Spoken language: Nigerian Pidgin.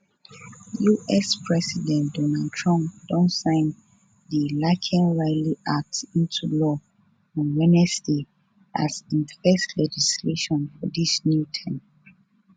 us president donald trump don sign di laken riley act into law on wednesday as im first legislation for dis new term